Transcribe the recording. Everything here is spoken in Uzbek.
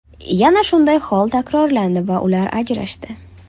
Yana shunday hol takrorlandi va ular ajrashdi.